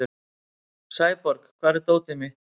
Sæborg, hvar er dótið mitt?